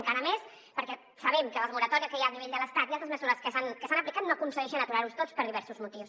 encara més perquè sabem que les moratòries que hi ha a nivell de l’estat i altres mesures que s’han aplicat no aconsegueixen aturar·los tots per diversos motius